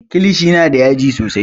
Kilishi na da yaji sosai